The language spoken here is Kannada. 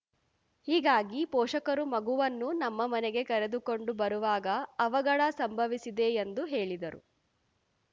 ಹೀಗಾಗಿ ಪೋಷಕರು ಮಗುವನ್ನು ನಮ್ಮ ಮನೆಗೆ ಕರೆದುಕೊಂಡು ಬರುವಾಗ ಅವಘಡ ಸಂಭವಿಸಿದೆ ಎಂದು ಹೇಳಿದರು